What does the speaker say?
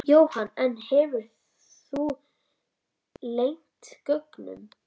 Jóhann: En hefurðu leynt gögnum?